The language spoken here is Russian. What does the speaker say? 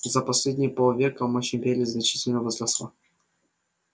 за последние полвека мощь империи значительно возросла